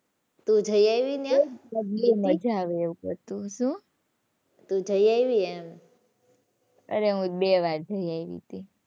તું જઈ આવી ત્યાં. મજા આવે એવું હતું. શું? તું જઈ આવી એમ. અરે હું બે વાર જઈ આવી હતી.